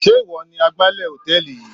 Sé ìwọ ni agbálẹ̀ hòtẹ́ẹ̀lì yìí?